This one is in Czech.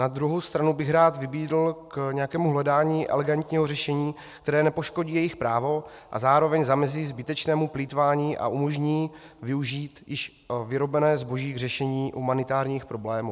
Na druhou stranu bych rád vybídl k nějakému hledání elegantního řešení, které nepoškodí jejich právo a zároveň zamezí zbytečnému plýtvání a umožní využít již vyrobené zboží k řešení humanitárních problémů.